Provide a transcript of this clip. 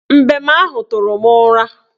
Mbem ahụ tụrụ m ụra